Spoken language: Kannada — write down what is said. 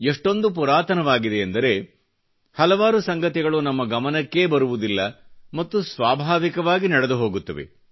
ಇಷ್ಟೊಂದು ಪುರಾತನವಾಗಿಯೆಂದರೆ ಹಲವಾರು ಸಂಗತಿಗಳು ನಮ್ಮ ಗಮನಕ್ಕೇ ಬರುವುದಿಲ್ಲ ಮತ್ತು ಸ್ವಾಭಾವಿಕವಾಗಿ ನಡೆದು ಹೋಗುತ್ತವೆ